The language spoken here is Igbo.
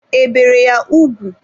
E bere ya ugwu?